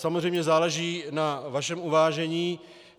Samozřejmě záleží na vašem uvážení.